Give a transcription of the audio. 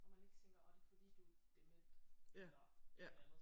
Og man ikke tænker ah det er fordi du er dement eller et eller andet